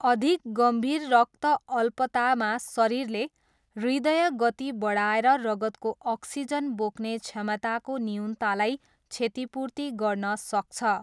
अधिक गम्भीर रक्तअल्पतामा शरीरले हृदय गति बढाएर रगतको अक्सिजन बोक्ने क्षमताको न्यूनतालाई क्षतिपूर्ति गर्न सक्छ।